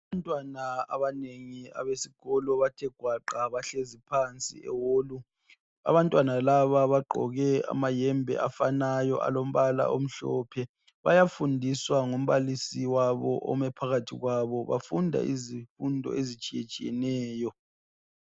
abantwana besikolo bathe ngwaqa bahlezi phansi eholu abantwana laba bagqoke amahembe afanayo alombala omhlophe bayafundiswa ngumbalisi wabo omephakathi kwabo bafunda izimfundo ezitshiyetshiyeneyo